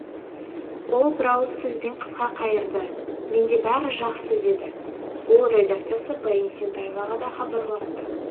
ол бір ауыз сөзбен қысқа қайырды менде бәрі жақсы деді ол редакциясы баян есентаеваға да хабарласты